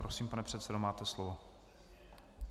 Prosím, pane předsedo, máte slovo.